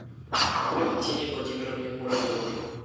валентине владимировне муравьевой